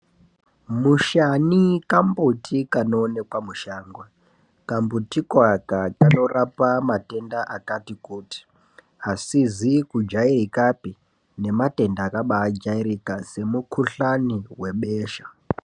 Mushani kambuti kanovanikwa mushango kambuti koaka kanorapa matenda akati kuti, asizi kujairikapi nematenda akabaajairika semukuhlani webesha.